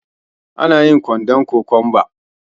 Anayin kwaɗon kokwamba